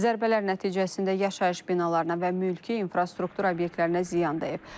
Zərbələr nəticəsində yaşayış binalarına və mülki infrastruktur obyektlərinə ziyan dəyib.